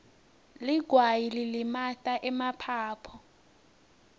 ligwayi lilimata emaphaphu